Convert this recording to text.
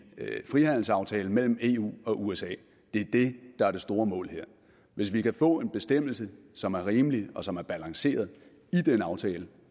frihandelsaftale mellem eu og usa er det der er det store mål her hvis vi kan få en bestemmelse som er rimelig og som er balanceret i den aftale